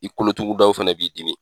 I kolo tugu daw fɛnɛ b'i dimi.